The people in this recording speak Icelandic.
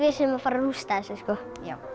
séum að fara að rústa þessu já